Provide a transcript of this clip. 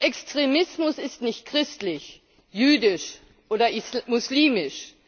Extremismus ist nicht christlich, jüdisch oder muslimisch.